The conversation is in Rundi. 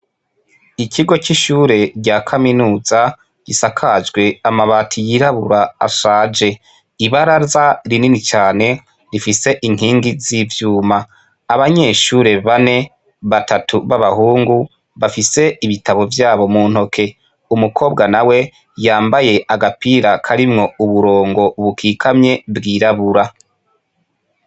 Ikigo c'ishure rya kaminuza gisakajwe amabati yirabura ashaje. Ibaraza rinini cyane rifise inkingi z'ivyuma. Abanyeshure bane, batatu b'abahungu bafise ibitabo vyabo mu ntoke. Umukobwa na we yambaye agapira karimwo uburongo bukikamwe bwirabura.